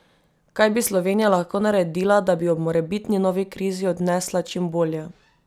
Kaj bi Slovenija lahko naredila, da bi jo ob morebitni novi krizi odnesla čim bolje?